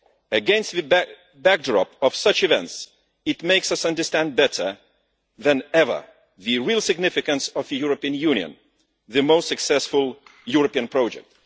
Against the backdrop of such events, it makes us understand better than ever the real significance of the European Union, the most successful European project.